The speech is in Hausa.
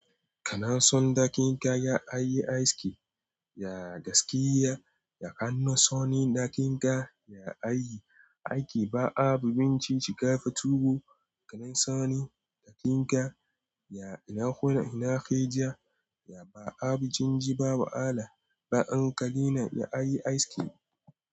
Kanan sun dakinka ya ayi ice cream ya gaskiya, ya kano sonin dakinka ya ayi ice cream. Ba abun ci shiga fa tuwo, kanan sonin dakinka ya ina kuna, ina kai ja, ya ba abun jin ji, ba wahala, ba hankali na ya ayi ice cream.